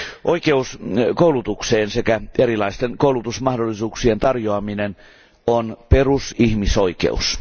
Oikeus koulutukseen sekä erilaisten koulutusmahdollisuuksien tarjoaminen on perusihmisoikeus.